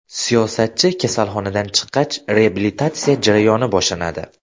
Siyosatchi kasalxonadan chiqqach, reabilitatsiya jarayoni boshlanadi.